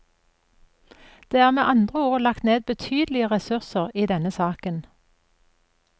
Det er med andre ord lagt ned betydelige ressurser i denne saken.